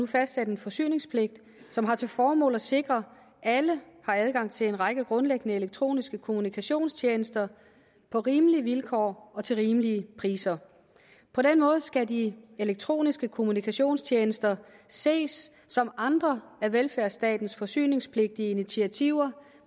fastsat en forsyningspligt som har til formål at sikre at alle har adgang til en række grundlæggende elektroniske kommunikationstjenester på rimelige vilkår og til rimelige priser på den måde skal de elektroniske kommunikationstjenester ses som andre af velfærdsstatens forsyningspligtige initiativer